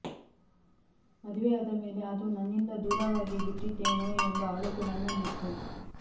ಮದುವೆಯಾದ ಮೇಲೆ ಅದು ನನ್ನಿಂದ ದೂರವಾಗಿ ಬಿಟ್ಟಿತೇನೋ ಎಂಬ ಅಳಕು ನನ್ನಲ್ಲಿತ್ತು